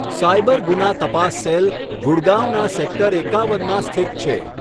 Cyber ગુના તપાસ cell ગુડગાંવના સેક્ટર એકાવનમાં સ્થિત છે.